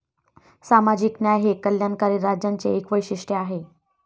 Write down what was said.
सामाजिक न्याय हे कल्याणकारी राज्यांचे एक वैशिष्ट्य आहे.